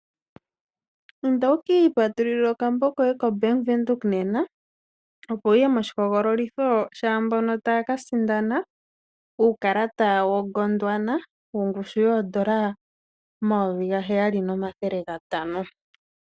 Patulula okambo komapungululilo mombaanga yaBank Windhoek, opo wu ye moshihogololitho shokusindana, okakalata komatalele po kaGondwana, kongushu yoodola dhaNamibia omayovi gaheyali nomathele gatano.